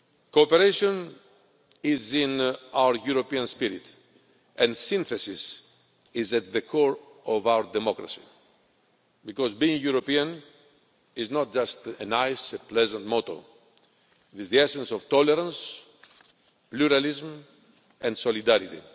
Cooperation is in our European spirit, and synthesis is at the core of our democracy, because being European is not just a nice pleasant motto, it is the essence of tolerance, pluralism and solidarity.